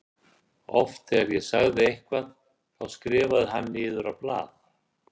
Oft þegar ég sagði eitthvað þá skrifaði hann niður á blað.